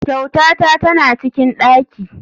Kyautata tana cikin daki.